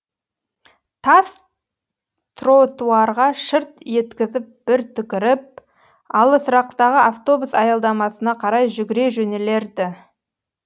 тас тротуарға шырт еткізіп бір түкіріп алысырақтағы автобус аялдамасына қарай жүгіре жөнелер ді